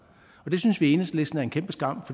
det synes vi i enhedslisten er en kæmpe skam